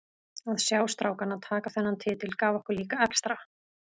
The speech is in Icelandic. Að sjá strákana taka þennan titil gaf okkur líka extra.